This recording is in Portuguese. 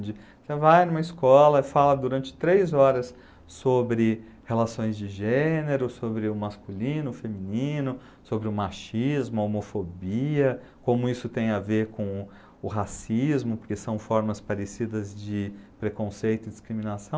Você vai numa escola e fala durante três horas sobre relações de gênero, sobre o masculino, o feminino, sobre o machismo, a homofobia, como isso tem a ver com o racismo, porque são formas parecidas de preconceito e discriminação.